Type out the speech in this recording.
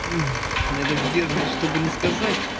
я так сдерживаюсь чтобы не сказать